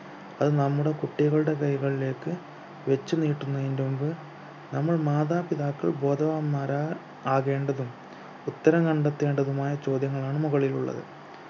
അത് നമ്മുടെ കുട്ടികളുടെ കൈകളിലേക്ക് വെച്ച് നീട്ടുന്നയന്റെ മുമ്പ് നമ്മൾ മാതാപിതാക്കൾ ബോധവാന്മാരാ ആകേണ്ടതും ഉത്തരം കണ്ടെത്തേണ്ടതുമായ ചോദ്യങ്ങളാണ് മുകളിലുള്ളത്